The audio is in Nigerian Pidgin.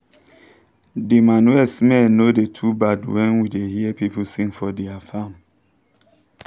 de manure smell no da too bad when we da hear pipu sing for dia farm